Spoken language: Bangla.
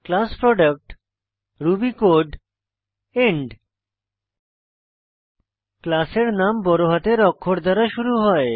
class product Ruby code end class এর নাম বড়হাতের অক্ষর দ্বারা শুরু হয়